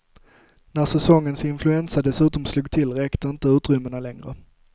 När säsongens influensa dessutom slog till räckte inte utrymmena längre.